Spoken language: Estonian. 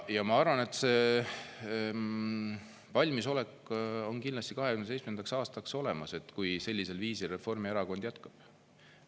Ja ma arvan, et see valmisolek on kindlasti 2027. aastaks olemas, kui sellisel viisil Reformierakond jätkab.